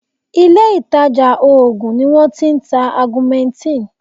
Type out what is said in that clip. Ilé ìtàjà oògùn ni wọ́n ti ń ta augmentin.